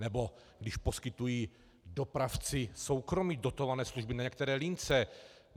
Nebo když poskytují dopravci soukromí dotované služby na některé lince.